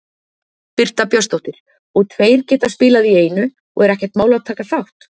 Birta Björnsdóttir: Og tveir geta spilað í einu og er ekkert mál að taka þátt?